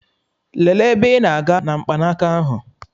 Lelee ebe ị na-aga na mkpanaka ahụ!